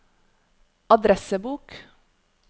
adressebok